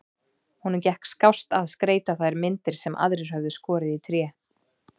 Honum gekk skást að skreyta þær myndir sem aðrir höfðu skorið í tré.